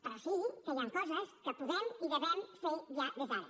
però sí que hi han coses que podem i hem de fer ja des d’ara